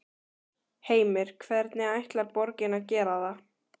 Heimir: Hvernig ætlar borgin að gera það?